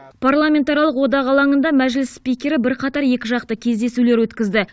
парламентаралық одақ алаңында мәжіліс спикері бірқатар екіжақты кездесулер өткізді